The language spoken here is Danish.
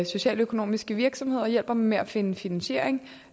socialøkonomiske virksomheder og hjælper dem med at finde finansiering